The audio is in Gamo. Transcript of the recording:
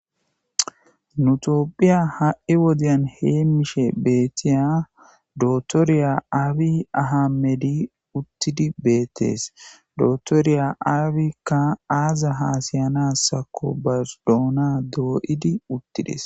Nutophiya ha'i wodiyan hee mishe beettiya dotoriya aabi ahamedi uttidi beettees dotoriya aabikka aaza haasayanassakko bardoona dooyidi uttides.